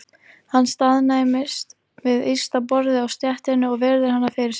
Hann staðnæmist við ysta borðið á stéttinni og virðir hana fyrir sér.